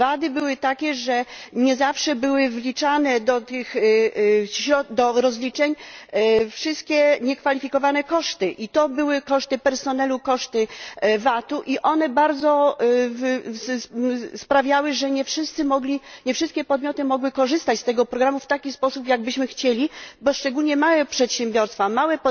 Wady były takie, że nie zawsze były wliczane do rozliczeń wszystkie niekwalifikowane koszty i to były koszty personelu, koszty VAT u i one bardzo sprawiały, że nie wszyscy mogli, nie wszystkie podmioty mogły korzystać z tego programu w taki sposób, jakbyśmy chcieli, bo szczególnie małe przedsiębiorstwa, małe